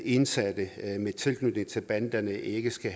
indsatte med tilknytning til banderne ikke skal